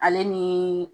Ale ni